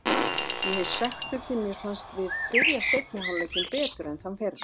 Ég er svekktur því mér fannst við byrja seinni hálfleikinn betur en þann fyrri.